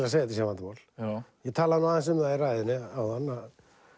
að þetta sé vandamál ég talaði nú aðeins um það í ræðunni áðan